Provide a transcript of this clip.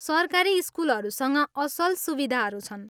सरकारी स्कुलहरूसँग असल सुविधाहरू छन्।